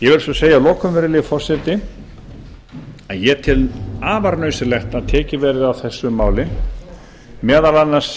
ég vil svo segja að lokum virðulegi forseti að ég tel afar nauðsynlegt að tekið verði á þessu máli meðal annars